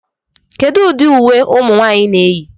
Kedu ụdị uwe ụmụ nwanyị na-eyi